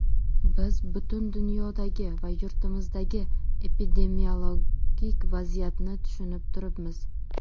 Biz butun dunyodagi va yurtimizdagi epidemiologik vaziyatni tushunib turibmiz.